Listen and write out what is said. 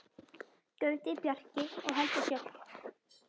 Gauti, Bjarki og Helga Sjöfn.